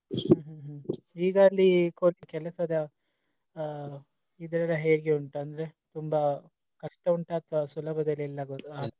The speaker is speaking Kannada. ಹ್ಮ್ ಹ್ಮ್ ಈಗ ಅಲ್ಲಿ ಕೆಲಸದ ಆ ಇದೆಲಾ ಹೇಗೆ ಉಂಟು ಅಂದ್ರೆ ತುಂಬಾ ಕಷ್ಟ ಉಂಟಾ ಅಥವಾ ಇಲ್ಲ ಸುಲಭದಲ್ಲಿ ಎಲ್ಲ .